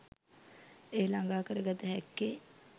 එය ළඟා කරගත හැක්කේ